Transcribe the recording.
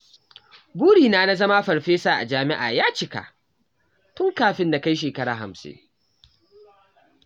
Burina na zama farfesa a jami'a ya cika tun kafin na kai shekara hamsin.